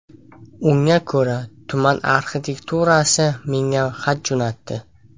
Unga ko‘ra, tuman arxitekturasi menga xat jo‘natdi.